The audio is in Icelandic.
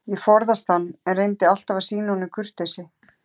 Ég forðaðist hann, en reyndi alltaf að sýna honum kurteisi.